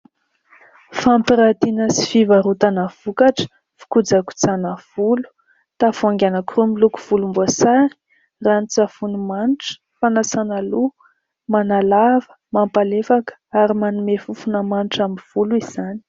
Fampiratiana sy fivarotana vokatra fikojakojàna volo. Tavoahangy anankiroa miloko volomboasary. Rano-tsavony manitra, fanasàna loha. Manalava, mampalefaka ary manome fofona manitra ny volo izany.